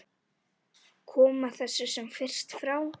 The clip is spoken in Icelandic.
Koma þessu sem fyrst frá.